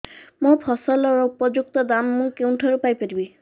ମୋ ଫସଲର ଉପଯୁକ୍ତ ଦାମ୍ ମୁଁ କେଉଁଠାରୁ ପାଇ ପାରିବି